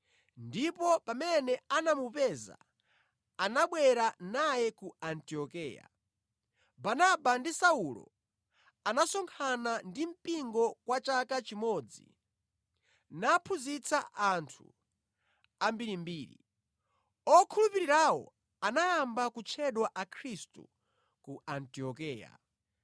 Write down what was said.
ndipo pamene anamupeza anabwera naye ku Antiokeya. Barnaba ndi Saulo anasonkhana ndi mpingo kwa chaka chimodzi naphunzitsa anthu ambirimbiri. Okhulupirirawo anayamba kutchedwa Akhristu ku Antiokeya.